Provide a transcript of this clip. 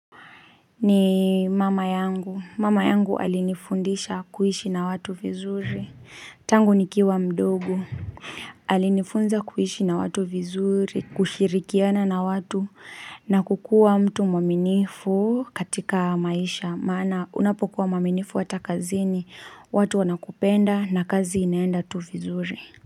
Ni mama yangu, mama yangu alinifundisha kuishi na watu vizuri, tangu nikiwa mdogo Alinifunza kuishi na watu vizuri, kushirikiana na watu na kukua mtu mwaminifu katika maisha, maana unapokuwa mwaminifu watakazini, watu wanakupenda na kazi inaenda tu vizuri.